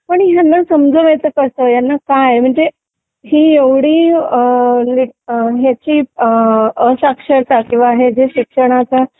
पण ह्यांना समजवायचं कसं यांना काय म्हणजे ही एवढी अ.... लाईक यांची अ... अशाक्षरता किंवा हे शिक्षणाचा